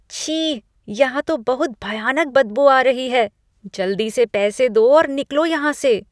छी! यहाँ तो बहुत भयानक बदबू आ रही है। जल्दी से पैसे दो और निकलो यहाँ से।